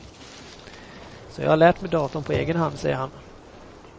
Så jag har lärt mig datorn på egen hand, säger han.